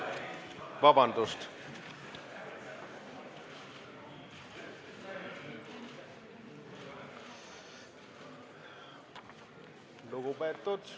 – Kersti Kaljulaid.